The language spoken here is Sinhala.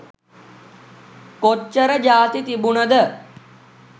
කොච්චර ජාති තිබුනද?